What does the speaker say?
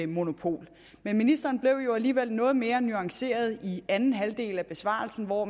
monopol men ministeren blev alligevel noget mere nuanceret i anden halvdel af besvarelsen hvor